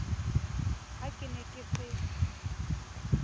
ha ke ne ke se